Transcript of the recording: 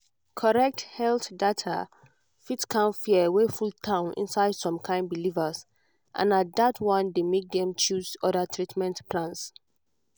correct health data fit calm fear wey full town inside some kind believers and na that one dey make dem choose other treatment plans.